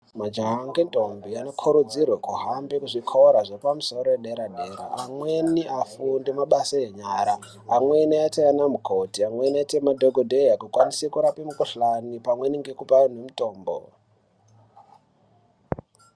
Majaha ngendombi anokurudzirwe kuhambe kuzvikora zvepamusoro yedera-dera, amweni afunde mabasa enyara, amweni aite anamukoti ,amweni aite madhokodheya, akwanise kurape mikhuhlani pamweni ngekupe antu mitombo .